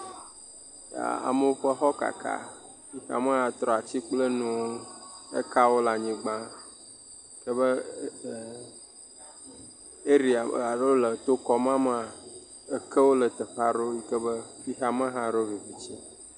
Amewo ƒe xɔwo kaka. A,mewo ya trɔ atsi kple nuwo, ekawo le anyigbe, ebe ɛɛɛ eria alo le tokɔ ma mea, ekewo le teƒe aɖewo yi ke be xexeame hã ɖo viviti.